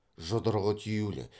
жұдырығы түюлі